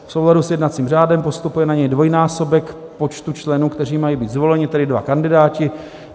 V souladu s jednacím řádem postupuje na něj dvojnásobek počtu členů, kteří mají být zvoleni, tedy dva kandidáti.